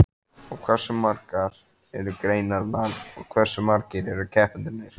Og hversu margar eru greinarnar og hversu margir eru keppendurnir?